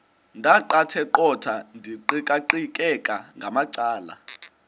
ndaqetheqotha ndiqikaqikeka ngamacala